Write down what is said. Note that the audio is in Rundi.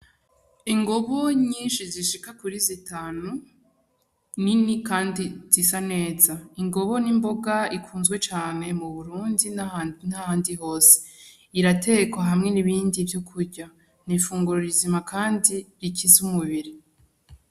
Ingobu nyishi zishika kuri zi tanu nini kandi zisa neza, Ingobu n'imboga ikunzwe cane mu Burundi n'ahandi hose iratekwa hamwe n'ibindi vyo kurya n'ifunguro rizima kandi rikiza umubiri.